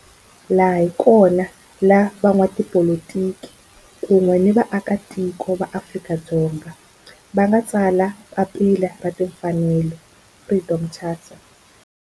Laha hi kona la van'watipolitiki kun'we ni vaaka tiko va Afrika-Dzonga va nga tsala papila ra timfanelo, Freedom Charter.